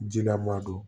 Jilama don